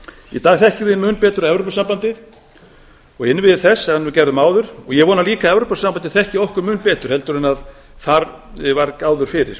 í dag þekkjum við mun betur evrópusambandið og innviði þess sem við gerðum áður og ég vona líka að evrópusambandið þekki okkur mun betur heldur en þar var áður fyrir